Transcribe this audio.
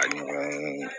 Ani